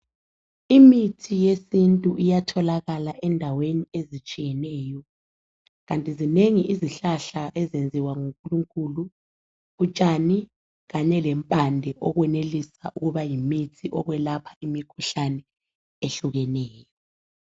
Imithi yesintu iyatholakala endaweni ezitshiyeneyo kanti zinengi izihlahla ezenziwa ngu Nkulunkulu, utshani kanye lempande okwenelisa ukuba yimithi okwelapha imikhuhlane ehlukeneyo